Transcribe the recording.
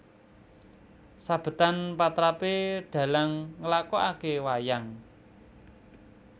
Sabetan patrapé dhalang nglakokake wayang